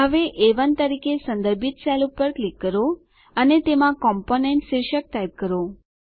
હવે એ1 તરીકે સંદર્ભિત સેલ પર ક્લિક કરો અને તેમાં કોમ્પોનન્ટ શીર્ષક ટાઈપ કરો